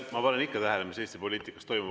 Ma panen ikka tähele, mis Eesti poliitikas toimub.